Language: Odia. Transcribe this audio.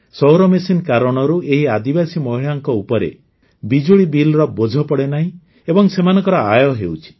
ସୌରମେସିନ କାରଣରୁ ଏହି ଆଦିବାସୀ ମହିଳାଙ୍କ ଉପରେ ବିଜୁଳି ବିଲ୍ର ବୋଝ ପଡ଼େ ନାହିଁ ଏବଂ ସେମାନଙ୍କର ଆୟ ହେଉଛି